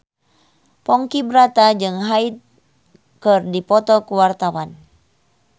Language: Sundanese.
Ponky Brata jeung Hyde keur dipoto ku wartawan